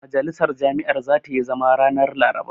Majalisar jami'ar zata yi zama ranar Laraba.